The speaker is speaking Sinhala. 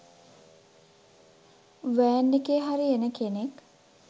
වෑන් එකේ හරි එන කෙනෙක්.